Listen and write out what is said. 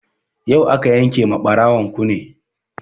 Yau aka yanke ma ɓarawon kune